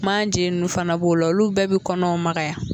Manje nunnu fana b'o la olu bɛɛ bi kɔnɔw magaya